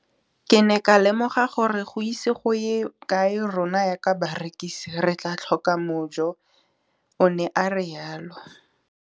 Ke ne ka lemoga gore go ise go ye kae rona jaaka barekise re tla tlhoka mojo, o ne a re jalo.